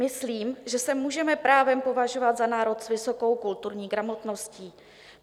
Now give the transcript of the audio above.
Myslím, že se můžeme právem považovat za národ s vysokou kulturní gramotností.